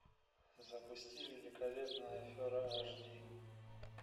запусти великолепная афера ашди